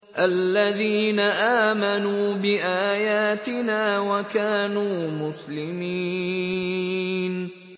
الَّذِينَ آمَنُوا بِآيَاتِنَا وَكَانُوا مُسْلِمِينَ